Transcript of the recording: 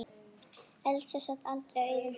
Elsa sat aldrei auðum höndum.